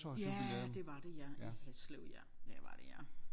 Ja det var det ja i Haslev ja det var det ja